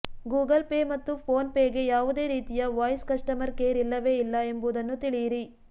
Google Pay ಮತ್ತು ಫೋನ್ ಪೇಗೆ ಯಾವುದೇ ರೀತಿಯ ವಾಯ್ಸ್ ಕಸ್ಟಮರ್ ಕೇರ್ ಇಲ್ಲವೇ ಇಲ್ಲ ಎಂಬುದನ್ನು ತಿಳಿಯಿರಿ